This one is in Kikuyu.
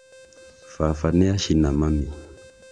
Baba nĩacina mami